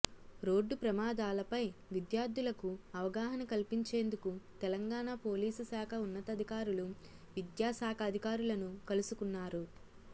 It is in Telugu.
రోడ్డు ప్రమాదాలపై విద్యార్థులకు అవగాహన కల్పించేందుకు తెలంగాణ పోలీసు శాఖ ఉన్నతాధికారులు విద్యాశాఖాధికారులను కలుసుకున్నారు